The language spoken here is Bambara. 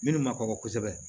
Minnu ma kɔkɔ kosɛbɛ